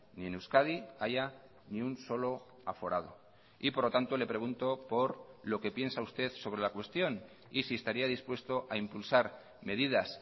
ni en euskadi haya ni un solo aforado y por lo tanto le pregunto por lo que piensa usted sobre la cuestión y si estaría dispuesto a impulsar medidas